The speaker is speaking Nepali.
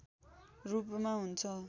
रूपमा हुन्छ